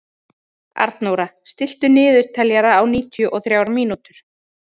Arnóra, stilltu niðurteljara á níutíu og þrjár mínútur.